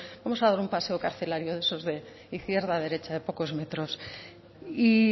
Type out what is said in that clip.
vamos a dar un paseo carcelario de esos de izquierda derecha de pocos metros y